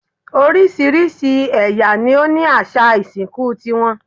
Oríṣiríṣi ẹ̀yà ni ó ní àṣà ìsìnkú ti wọn